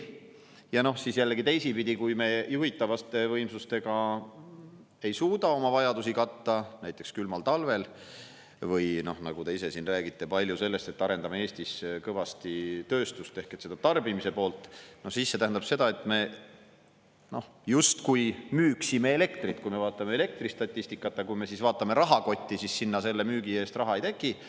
Ja jällegi teisipidi, kui me juhitavate võimsustega ei suuda oma vajadusi katta, näiteks külmal talvel, või kui, nagu te ise siin palju räägite, me arendame Eestis kõvasti tööstust ehk tarbimise poolt, siis see tähendab seda, et me justkui müüksime elektrit, kui me vaatame elektristatistikat, aga rahakotti selle müügi eest raha ei teki.